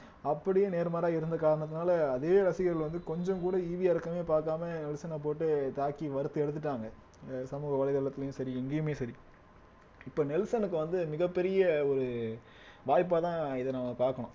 அப்படியே நேர்மாறா இருந்த காரணத்தினால அதே ரசிகர்கள் வந்து கொஞ்சம் கூட ஈவு இரக்கமே பாக்காம விமர்சனம் போட்டு தாக்கி வறுத்து எடுத்துட்டாங்க ஆஹ் சமூக வலைதளத்திலும் சரி எங்கேயுமே சரி இப்ப நெல்சனுக்கு வந்து மிகப்பெரிய ஒரு வாய்ப்பாதான் இத நம்ம பாக்கணும்